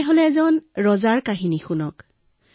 আহক এজন ৰজাৰ সাধু শুনো